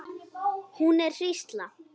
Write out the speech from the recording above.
Hún er hrísla.